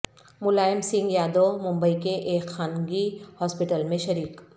ملائم سنگھ یادو ممبئی کے ایک خانگی ہاسپٹل میں شریک